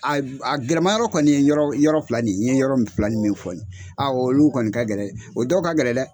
A a gɛlɛma yɔrɔ kɔni nin ye yɔrɔ yɔrɔ fila nin n ye yɔrɔ min fila nin min fɔ nin olu kɔni ka gɛlɛ o dɔw ka gɛlɛ dɛ.